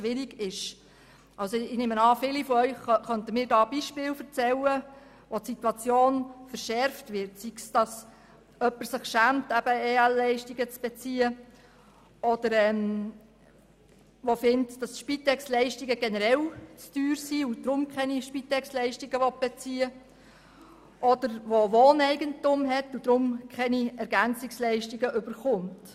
Ich nehme an, viele von Ihnen könnten mir Beispiele nennen, wo es zu einer Verschärfung der Situation kommt, sei es, dass sich jemand schämt, EL zu beantragen, sei es, dass jemand keine Spitex-Leistungen bezieht, weil er diese generell zu teuer findet, oder sei es, dass jemand über Wohneigentum verfügt und deshalb keine EL erhält.